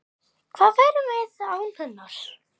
Hvað værum við án hennar?